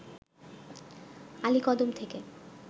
আলীকদম থেকে